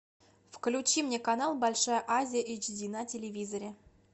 включи мне канал большая азия эйч ди на телевизоре